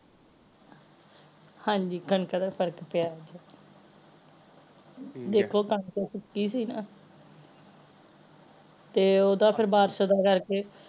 ਹਾਂਜੀ ਕਣਕਾਂ ਤੇ ਫਰਕ ਪਿਆ ਦੇਖੋ ਕਣਕ ਤੇ ਸੁਕੀ ਸੀ ਨਾ ਤੇ ਓਹਦਾ ਫੇਰ ਬਾਰਸ਼ ਦਾ ਕਰਕੇ